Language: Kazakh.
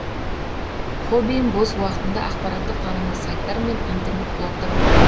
хоббиім бос уақытымда ақпараттық танымы сайттар мен интернет блогтар оқим